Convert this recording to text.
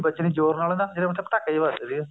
ਵੱਜਣੀ ਜੋਰ ਨਾਲ ਇਹਦਾ ਮਤਲਬ ਪਟਾਕੇ ਜੇ ਵੱਜਦੇ ਸੀਗੇ